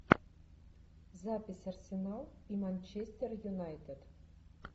запись арсенал и манчестер юнайтед